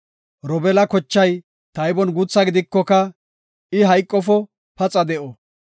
“Robeela kochay taybon guutha gidikoka, I hayqofo; paxa de7o.”